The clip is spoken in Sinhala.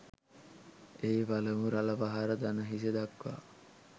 එහි පළමු රළ පහර දණහිස දක්වා